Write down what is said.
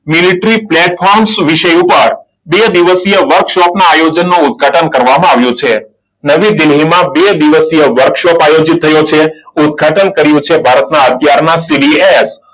Military પ્લેટફોર્મન્સ વિષય ઉપર બે દિવસીય વર્કશોપના આયોજનનું ઉદ્ઘાટન કરવામાં આવ્યું છે. નવી દિલ્હીમાં બે દિવસે વર્કશોપ આયોજિત થયો છે. ઉદ્ઘાટન કર્યું છે ભારતના અત્યારના CDS